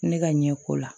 Ne ka ɲɛko la